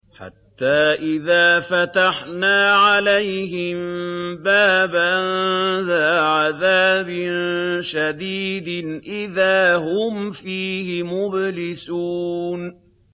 حَتَّىٰ إِذَا فَتَحْنَا عَلَيْهِم بَابًا ذَا عَذَابٍ شَدِيدٍ إِذَا هُمْ فِيهِ مُبْلِسُونَ